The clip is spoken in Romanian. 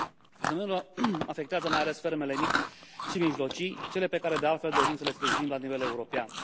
Fenomenul afectează mai ales fermele mici și mijlocii, cele pe care, de altfel, dorim să le sprijinim la nivel european.